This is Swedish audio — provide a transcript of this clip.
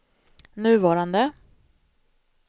nuvarande